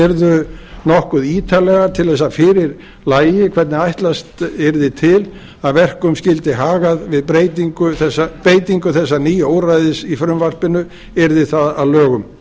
yrðu nokkuð ítarlega til þess að fyrir lægi hvernig ætlast yrði til að verkum skyldi hagað við beitingu þessa nýja úrræðis í frumvarpinu yrði það að lögum